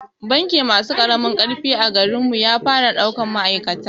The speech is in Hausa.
Banki masu ƙaramin ƙarfi a garin mu ya fara daukar ma'aikata